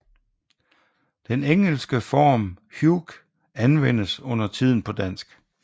Den engelske form Hugh anvendes undertiden på dansk